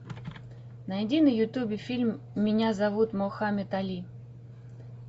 найди на ютубе фильм меня зовут мохаммед али